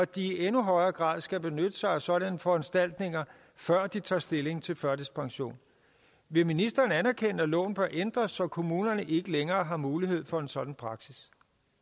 de i endnu højere grad skal benytte sig af sådanne foranstaltninger før de tager stilling til førtidspension vil ministeren anerkende at loven bør ændres så kommunerne ikke længere har mulighed for en sådan praksis